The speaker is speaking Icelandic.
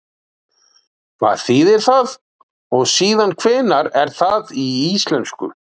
Hvað þýðir það og síðan hvenær er það í íslensku?